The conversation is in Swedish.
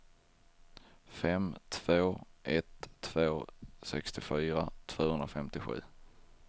fem två ett två sextiofyra tvåhundrafemtiosju